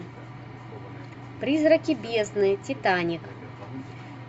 призраки бездны титаник